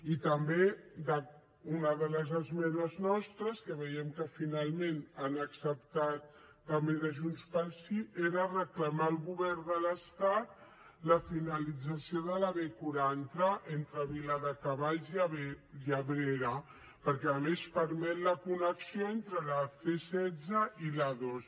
i també una de les esmenes nostres que veiem que finalment han acceptat també de junts pel sí era reclamar al govern de l’estat la finalització de la b quaranta entre viladecavalls i abrera perquè a més permet la connexió entre la c setze i l’a dos